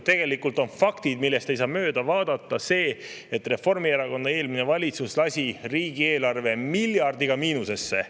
Tegelikult on fakt, millest ei saa mööda vaadata, see, et Reformierakonna eelmine valitsus lasi riigieelarve miljardiga miinusesse.